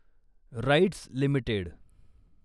rights limited